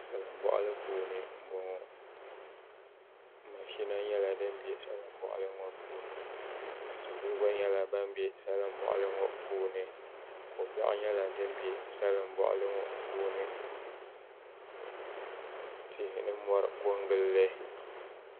Salin boɣali puuni n boŋo mashina nyɛla din bɛ salin boɣali ŋo puuni salo gba nyɛla ban bɛ salin boɣali ŋo puuni tihi ni mori ko n gilli